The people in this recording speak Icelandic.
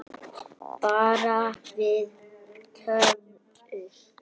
Bara við tvö?